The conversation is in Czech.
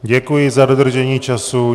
Děkuji za dodržení času.